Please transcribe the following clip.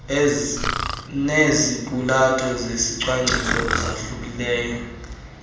neziqulatho zezicwangciso esahlukileyo